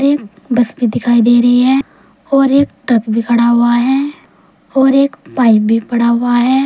एक बस भी दिखाई दे रही है और एक ट्रक भी खड़ा हुआ है और एक पाइप भी पड़ा हुआ है।